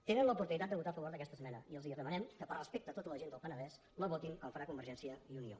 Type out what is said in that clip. tenen l’oportunitat de votar a favor d’aquesta esmena i els demanem que per respecte a tota la gent del penedès la votin com ho farà convergència i unió